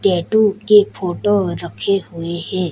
Tattoo के photo रखे हुए है।